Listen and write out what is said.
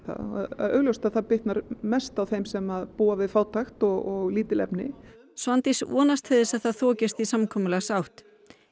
augljóst að það bitnar mest á þeim sem búa við fátækt og lítil efni Svandís vonast til þess að það þokist í samkomulagsátt